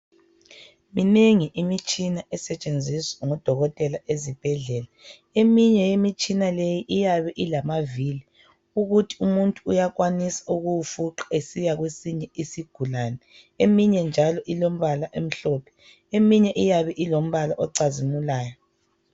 Minengi imitshina esetshenziswa ngodokotela ezibhedlela eminye yemitshina leyi iyabe ilamavili ukuthi umuntu uyakwanisa ukuwufuqa esiya kwesinye isigulane eminye njalo ilombala omhlophe eminye iyabe ilombala ocazimulayo